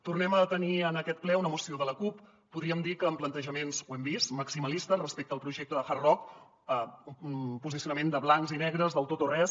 tornem a tenir en aquest ple una moció de la cup podríem dir que amb plantejaments ho hem vist maximalistes respecte al projecte del hard rock un posicionament de blancs i negres de tot o res